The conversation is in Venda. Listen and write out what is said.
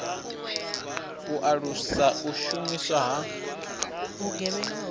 u alusa u shumiswa ha